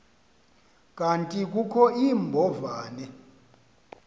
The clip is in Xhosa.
kanti kukho iimbovane